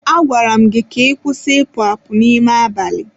A gwara gị ka ị kwụsị ịpụ apụ n'ime abalị!